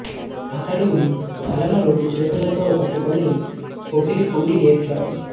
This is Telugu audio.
అతడు తలను రెండు చేతులతో పట్టుకుని పొగిలి పొగిలి ఏడ్చాడు